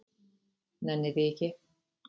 Nenni því ekki.